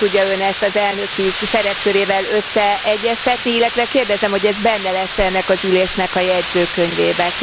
Hogy tudja ezt Ön az elnöki szerepkörével összeegyeztetni, illetve kérdezem, hogy ez benne lesz e ennek az ülésnek a jegyzőkönyvében?